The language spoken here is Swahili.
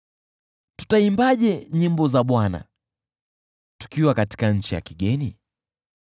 Tutaimbaje nyimbo za Bwana , tukiwa nchi ya kigeni?